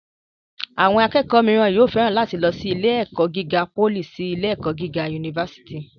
Àwọn akẹ́kọ̀ọ́ mìíràn máa féràn láti lọ sí ilé-ẹ̀kọ́ gíga pólì sí ilé-ẹ̀kọ́ gíga fásitì.